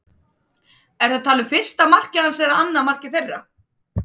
Ertu að tala um fyrsta markið hans en annað markið þeirra?